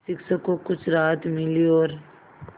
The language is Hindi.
शिक्षक को कुछ राहत मिली और